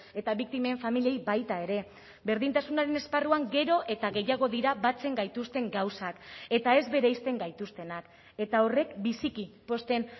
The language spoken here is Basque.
eta biktimen familiei baita ere berdintasunaren esparruan gero eta gehiago dira batzen gaituzten gauzak eta ez bereizten gaituztenak eta horrek biziki pozten